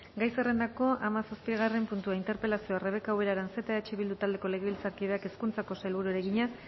gai zerrendako hamazazpigarren puntua interpelazioa rebeka ubera aranzeta eh bildu taldeko legebiltzarkideak hezkuntzako sailburuari egina